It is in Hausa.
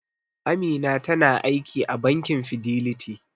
Amina tana aiki a bankin Fidelity.